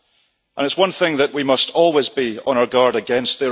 It is one thing that we must always be on our guard against.